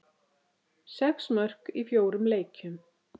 Sex mörk í fjórum leikjum.